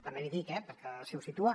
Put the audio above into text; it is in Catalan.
també l’hi dic eh perquè si ho situa